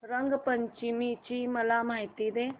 रंग पंचमी ची मला माहिती दे